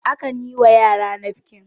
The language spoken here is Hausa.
akan yiwa yara nafkin